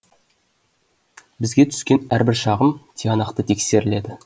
бізге түскен әрбір шағым тиянақты тексеріледі